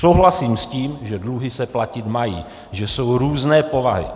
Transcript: Souhlasím s tím, že dluhy se platit mají, že jsou různé povahy.